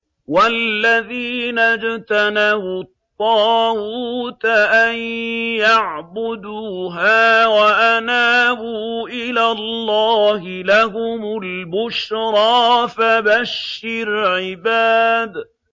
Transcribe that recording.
وَالَّذِينَ اجْتَنَبُوا الطَّاغُوتَ أَن يَعْبُدُوهَا وَأَنَابُوا إِلَى اللَّهِ لَهُمُ الْبُشْرَىٰ ۚ فَبَشِّرْ عِبَادِ